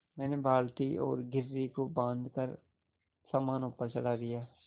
मैंने बाल्टी और घिर्री को बाँधकर सामान ऊपर चढ़वा दिया